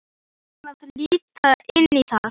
Varstu búinn að líta inn í það?